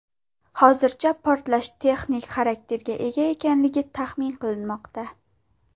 Hozircha portlash texnik xarakterga ega ekanligi taxmin qilinmoqda.